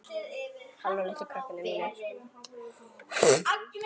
Það verður mikið stuð.